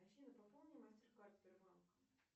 афина пополни мастер кард сбербанка